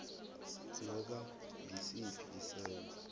noba ngisiphi isenzo